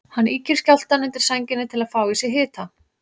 Hann ýkir skjálftann undir sænginni til að fá í sig hita.